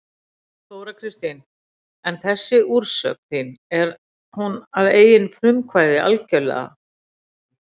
Þóra Kristín: En þessi úrsögn þín er hún að eigin frumkvæði algjörlega?